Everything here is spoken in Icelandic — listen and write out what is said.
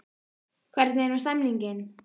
Hvernig er nú stemningin?